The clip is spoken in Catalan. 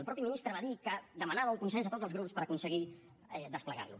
el mateix ministre va dir que demanava un consens a tots els grups per aconseguir desplegar lo